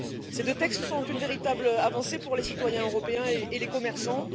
Ces deux textes sont une véritable avancée pour les citoyens européens et les commerçants.